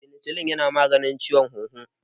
Penicillin yana maganin ciwon huhu.